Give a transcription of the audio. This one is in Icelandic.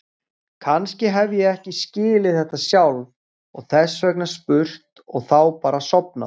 Kannski hef ég ekki skilið þetta sjálf og þess vegna spurt og þá bara sofnað.